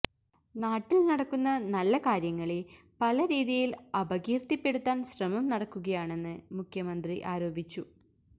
നാട്ടിൽ നടക്കുന്ന നല്ല കാര്യങ്ങളെ പല രീതിയിൽ അപകീര്ത്തിപ്പെടുത്താൻ ശ്രമം നടക്കുകയാണെന്ന് മുഖ്യമന്ത്രി ആരോപിച്ചു